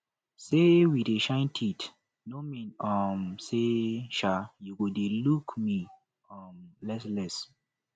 say we dey shine teeth no mean um say um you go dey look me um less less